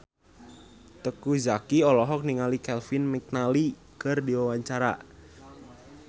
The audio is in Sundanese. Teuku Zacky olohok ningali Kevin McNally keur diwawancara